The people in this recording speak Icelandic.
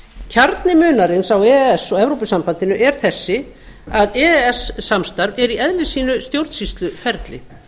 kjarni munarins á e e s og evrópusambandinu er þessi að e e s samstarf er í eðli sínu stjórnsýsluferli